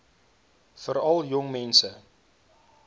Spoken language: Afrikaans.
veral jong mense